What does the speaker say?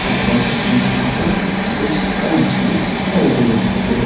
अथवा यहां पर कुछ कांच भी दिखाई दे रहे--